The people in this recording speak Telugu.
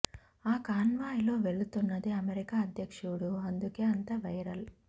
ఆ కాన్వాయ్ లో వెళుతున్నది అమెరికా అధ్యక్షుడు అందుకే అంత వైరల్